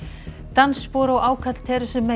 dansspor og ákall